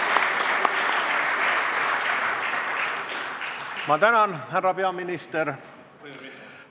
Ma tänan, härra peaminister!